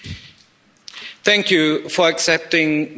Thank you for accepting the blue card.